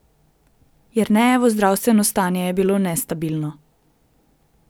Jernejevo zdravstveno stanje je bilo nestabilno.